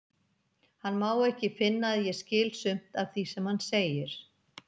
Hann má ekki finna að ég skil sumt af því sem hann segir.